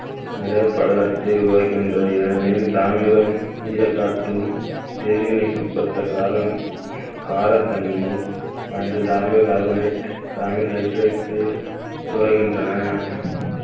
நிற படலத்தை உருவாக்குகின்றது ஏனெனில் தாமிரம் ஈரக்காற்றும் வேதிவினைக்குட்பட்ட காரணம் காரத்தன்மை carbonate hydroxide உருவாகின்றன